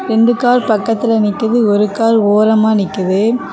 ரெண்டு கார் பக்கத்தில நிக்குது ஒரு கார் ஓரமா நிக்குது.